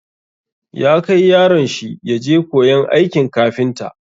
Ya kai yaron shi ya je koyon aikin kafinta.